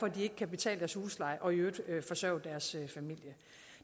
at de ikke kan betale deres husleje og i øvrigt forsørge deres familie